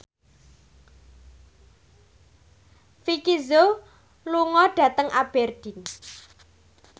Vicki Zao lunga dhateng Aberdeen